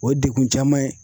O ye dekun caman ye.